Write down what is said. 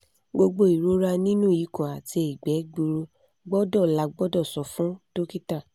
gbogbo irora ninu ikun ati igbe gburu gbọdọ lagbodo so fun dokita